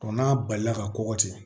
n'a balila ka kɔgɔ ten